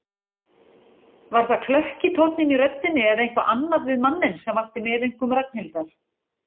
Var það klökki tónninn í röddinni eða eitthvað annað við manninn sem vakti meðaumkun Ragnhildar?